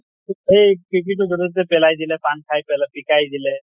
এই পিপি টো যʼতে তʼতে পেলাই দিলে, পান খাই পেলাই পিকাই দিলে